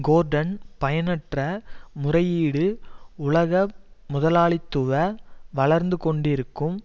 கோர்டன் பயனற்ற முறையீடு உலக முதலாளித்துவ வளர்ந்து கொண்டிருக்கும்